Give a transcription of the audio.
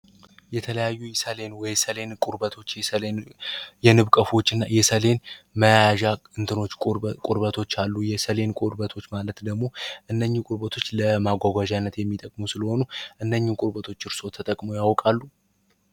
የተለያዩ ኢሳያን ቁርበት የሰሌ የንብቀፎች እና ቁርባቶች አሉ ቁርበት ማለት ደግሞ እነኚ ጉባቶች ለማጓጓነት የሚጠቅሙ ስለሆኑ ያውቃሉ